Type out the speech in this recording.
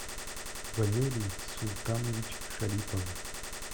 валерий султанович шарипов